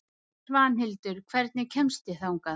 Svanhildur, hvernig kemst ég þangað?